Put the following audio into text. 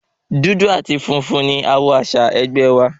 Dúdú àti funfun ni àwọ̀ àsìá ẹgbẹ́ wa.